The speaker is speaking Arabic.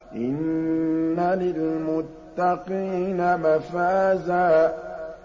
إِنَّ لِلْمُتَّقِينَ مَفَازًا